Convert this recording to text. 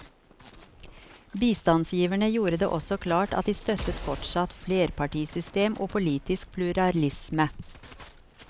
Bistandsgiverne gjorde det også klart at de støttet fortsatt flerpartisystem og politisk pluralisme.